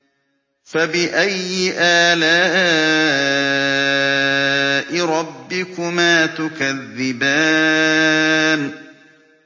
فَبِأَيِّ آلَاءِ رَبِّكُمَا تُكَذِّبَانِ